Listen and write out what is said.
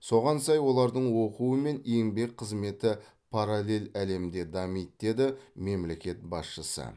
соған сай олардың оқуы мен еңбек қызметі параллель әлемде дамиды деді мемлекет басшысы